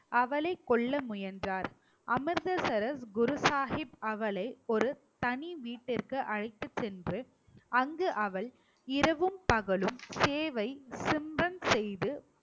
அவளைக் கொல்ல முயன்றார் அமிர்தசரஸ் குரு ஷாஹிப் அவளை ஒரு தனி வீட்டுக்கு அழைத்துச் சென்று அங்கு அவள் இரவும் பகலும் சேவை செய்து